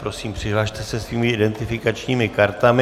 Prosím, přihlaste se svými identifikačními kartami.